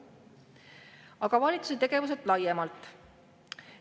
Aga valitsuse tegevusest laiemalt.